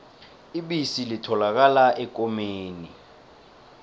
ibisi litholakala ekomeni